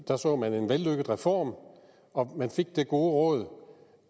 der så man en vellykket reform og man fik det gode råd